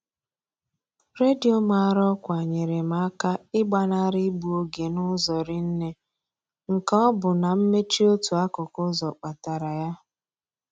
Redio mara ọkwa nyere m aka ịgbanarị igbu oge n'ụzọ rinne nke ọ bụ na mmechi otu akụkụ ụzọ kpatara ya.